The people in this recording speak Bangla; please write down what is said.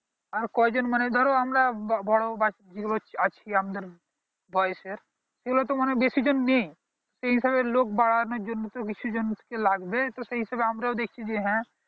আর কয় জন মানে ধরো আমরা বড়ো বাচ্চা আছি আমাদের বয়েসের সেই গুলো তো বেশি জন নেই সেই হিসাবে লোক বাড়ানোর জন্য তো বেশি জন কে লাগবে তো সেই হিসাবে আমারও দেখছি যে হ্যাঁ